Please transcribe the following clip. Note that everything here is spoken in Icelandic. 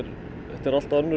þetta er allt önnur